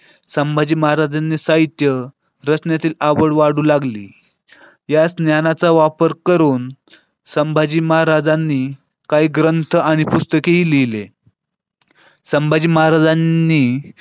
संभाजी महाराजांनी साहित्य रचनेतील आवड वाढू लागली ज्या ज्ञानाचा वापर करून संभाजी महाराजांनी काही ग्रंथ आणि पुस्तकेही लिहिले संभाजी महाराजांनी